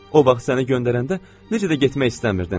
O vaxt səni göndərəndə necə də getmək istəmirdin.